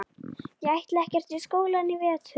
Ég ætla ekkert í skólann í vetur.